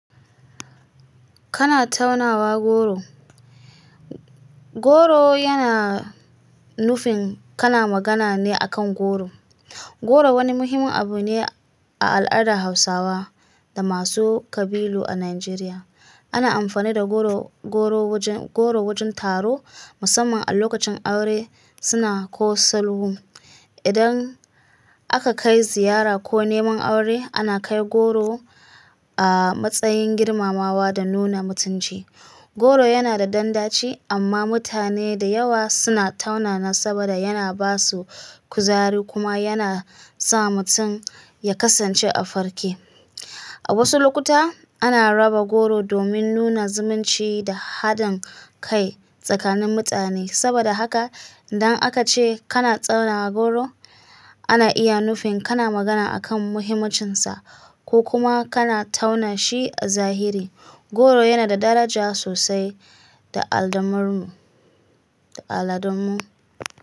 Kana taunawa goro. Goro yana nufin kana magana ne a kan goro. Goro wani muhimmin abu ne a al'adar Hausawa da masu ƙabilu a Najeriya. Ana amfani da goro wajen taro, musamman a lokacin aure, suna ko salhu. Idan aka kai ziyara ko neman aure, ana kai goro a matsayin girmamawa da nuna mutunci. Goro yana da dandaci, amma mutane da yawa suna taunana saboda yana basu kuzari kuma yana sa mutum ya kasance a farke. A wasu lokuta ana raba goro domin nuna zumunci da haɗin kai tsakanin mutane. Saboda haka idan aka ce kana taunawa goro, ana iya nufin kana magana a kan muhimmancinsa ko kuma kana tauna shi a zahiri. Goro yana da daraja sosai a al'adarmu.